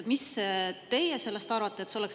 Mis teie sellest arvate?